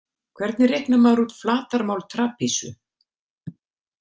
Hvernig reiknar maður út flatarmál trapisu?